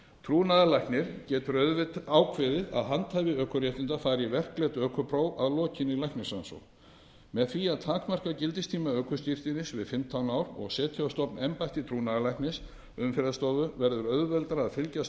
trúnaðarlæknir getur ákveðið að handhafi ökuréttinda fari í verklegt ökupróf að lokinni læknisrannsókn með því að takmarka gildistíma ökuskírteinis við fimmtán ár og setja á stofn embætti trúnaðarlæknis umferðarstofu verður auðveldara að fylgjast